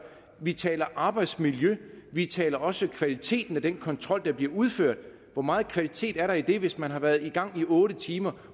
vi taler arbejdsmiljø vi taler også kvaliteten af den kontrol der bliver udført hvor meget kvalitet er der i den hvis man har været i gang i otte timer